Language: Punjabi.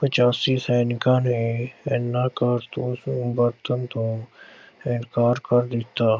ਪਚਾਸੀ ਸੈਨਿਕਾਂ ਨੇ ਇਨ੍ਹਾਂ ਕਾਰਤੂਸਾਂ ਨੂੰ ਵਰਤਣ ਤੋਂ ਇਨਕਾਰ ਕਰ ਦਿੱਤਾ।